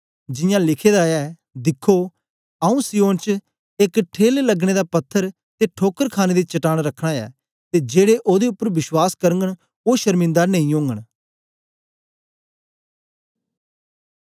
जियां लिखे दा ऐ दिखो आऊँ सिय्योन च एक ठेल लगने दा पत्थर ते ठोकर खाणे दी चट्टान रखना ऐ ते जेड़े ओदे उपर विश्वास करगन ओ शर्मिदा नेई ओगन